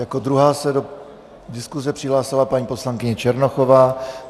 Jako druhá se do diskuse přihlásila paní poslankyně Černochová.